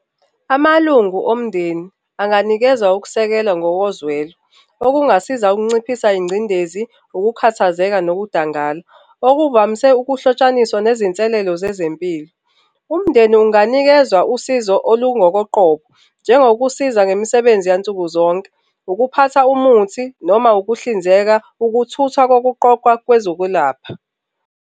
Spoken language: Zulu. Amalungu omndeni anganikezwa ukusekelwa ngokozwelo, okungasiza ukunciphisa ingcindezi, ukukhathazeka nokudangala okuvamise ukuhlotshaniswa nezinselelo zezempilo. Umndeni unganikezwa usizo olungokoqobo, njengokusiza ngemisebenzi yansuku zonke, ukuphatha umuthi noma ukuhlinzeka, ukuthuthwa kokuqoqwa kwezokwelapha.